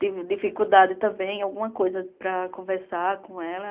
Tive dificuldade também, alguma coisa para conversar com ela.